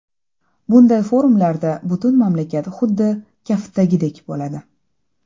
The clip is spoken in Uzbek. Bunday forumlarda butun mamlakat xuddi kaftdagidek bo‘ladi.